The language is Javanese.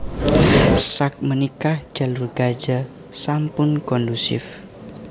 Sak menika Jalur Gaza sampun kondusif